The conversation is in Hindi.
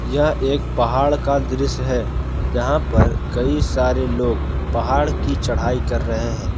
यह एक पहाड़ का दृश्य है जहां पर कई सारे लोग पहाड़ की चढ़ाई कर रहे हैं।